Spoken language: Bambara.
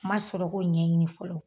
N ma sɔrɔ k'o ɲɛɲini fɔlɔ.